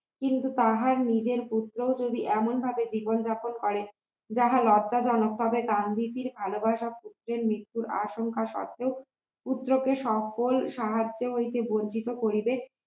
কিন্তু তাহার নিজের পুত্র যদি এমন ভাবে জীবন যাপন করে যাহা লজ্জাজনক তবে গান্ধীজীর ভালোবাসা পুত্রের মৃত্যুর আশঙ্কা সত্ত্বেও পুত্রকে সকল সাহায্য হইতে বঞ্চিত করিবে